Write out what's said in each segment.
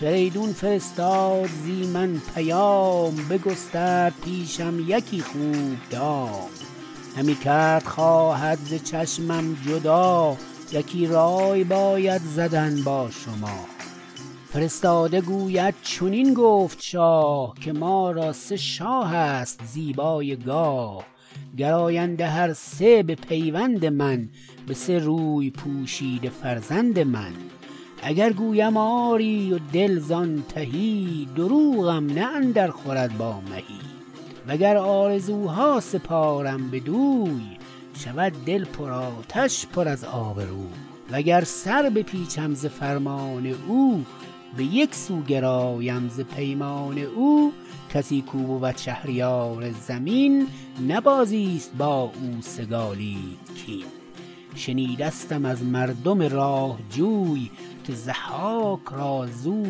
فریدون فرستاد زی من پیام بگسترد پیشم یکی خوب دام همی کرد خواهد ز چشمم جدا یکی رای باید زدن با شما فرستاده گوید چنین گفت شاه که ما را سه شاه ست زیبای گاه گراینده هر سه به پیوند من به سه روی پوشیده فرزند من اگر گویم آری و دل زان تهی دروغم نه اندر خورد با مهی وگر آرزو ها سپارم بدوی شود دل پر آتش پر از آب روی وگر سر بپیچم ز فرمان او به یک سو گرایم ز پیمان او کسی کو بود شهریار زمین نه بازی ست با او سگالید کین شنیدستم از مردم راه جوی که ضحاک را زو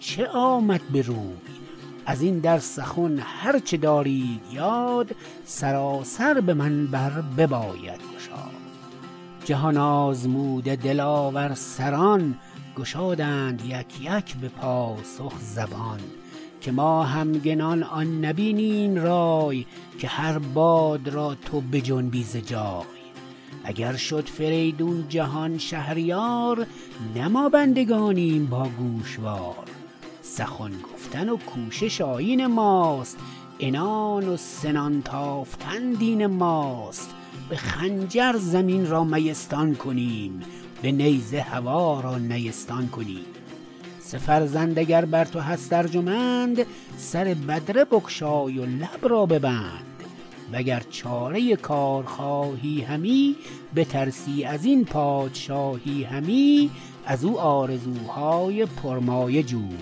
چه آمد بروی ازین در سخن هر چه دارید یاد سراسر به من بر بباید گشاد جهان آزموده دلاور سران گشادند یک یک به پاسخ زبان که ما همگنان آن نبینیم رای که هر باد را تو بجنبی ز جای اگر شد فریدون جهان شهریار نه ما بندگانیم با گوشوار سخن گفتن و کوشش آیین ماست عنان و سنان تافتن دین ماست به خنجر زمین را میستان کنیم به نیزه هوا را نیستان کنیم سه فرزند اگر بر تو هست ارجمند سر بدره بگشای و لب را ببند و گر چاره کار خواهی همی بترسی ازین پادشاهی همی ازو آرزو های پرمایه جوی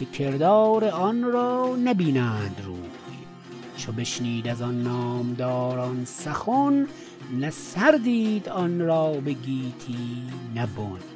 که کردار آنرا نبینند روی چو بشنید از آن نامداران سخن نه سر دید آن را به گیتی نه بن